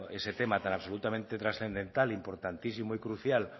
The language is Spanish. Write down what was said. ese tema tan absolutamente trascendental importantísimo y crucial